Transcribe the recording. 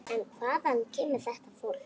En hvaðan kemur þetta fólk?